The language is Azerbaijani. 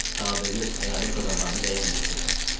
sadə lüf əyalət adamlarını bəyənməyəcəksən.